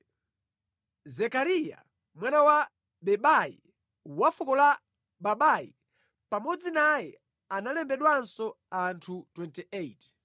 Zekariya, mwana wa Bebai wa fuko la Babai. Pamodzi naye analembedwanso anthu 28.